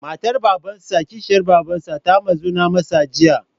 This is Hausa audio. Matar Babansa/ Kishiyar Babarsa ta muzana masa Jiya.